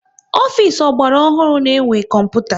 Ofisi ọgbara ọhụrụ na-enwe kọmputa